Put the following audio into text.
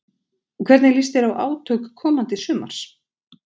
Hvernig líst þér á átök komandi sumars?